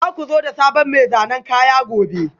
Za ku zo da sabon mai zanen kaya gobe?